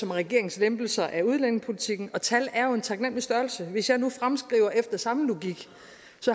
regeringslempelser af udlændingepolitikken tal er jo en taknemmelig størrelse og hvis jeg nu fremskriver efter samme logik